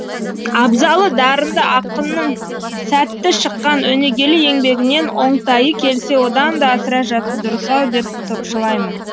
абзалы дарынды ақынның сәтті шыққан өнегелі еңбегінен оңтайы келсе одан да асыра жазу дұрыс ау деп топшылаймын